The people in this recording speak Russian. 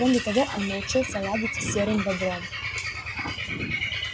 кроме того он научился ладить с серым бобром